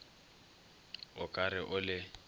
o ka re o le